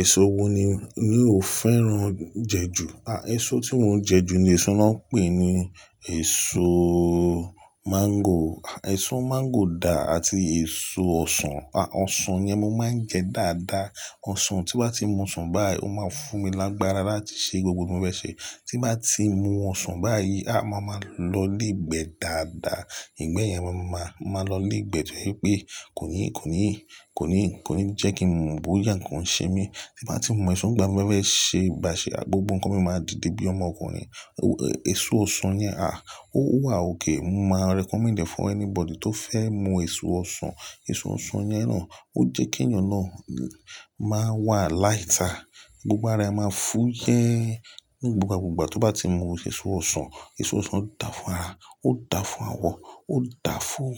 Èso wo ni, mi ò fẹ́ràn jẹ ju? À, èso tí mo ń jẹ ju ni èso wọ́n ń pè ní èso mango. Èso mango dà àti èso ọsàn. Ọsàn yẹn mo máa ń jẹ dáadáa. Ọsàn tí bá ti mu ọsàn báyìí, ó máa fún mi lágbára láti ṣe gbogbo ohun tí mo fẹ́ ṣe. Tí n bá ti mu ọsàn báyìí, a mo máa ma lọ lègbẹ́ dáadáa. Ìgbẹ́ yẹn máa ma, mo ma máa lọ lègbẹ́ tó jẹ pé kò ní, kò ní kò ní kò ní jẹ́ kí n mọ̀ bóyá nǹkan ṣe mí. Tí bá ti mu èso ìgbà mo fẹ́ ṣe bà ṣe, à gbogbo nǹkan mi máa dìde bí ọmọ ọkùnrin. Èso ọsàn yẹn a, ó wà okay. Mo máa recommend it for anybody tó fẹ́ mu èso ọsàn. Èso ọsàn yẹn náà ó jẹ́ kí ènìyàn náà máa wà lighter. Gbogbo ara máa fúyẹ́. Gbogbo gbogba tó bá ti mu èso ọsàn, èso ọsàn dà fún ara, ó dà fún àwọ̀, ó dà fún